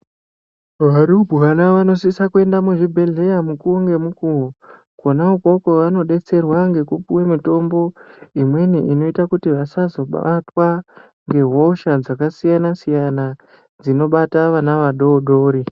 Varumbwana vanosisa kuenda muzvibhedhleya mukuvo ngemukuvo. Kona ikoko vanobetserwa ngekupuve mitombo imweni inoita kuti vasazobatwa ngehosha dzakasiyana-siyana dzinobata vana vadodori.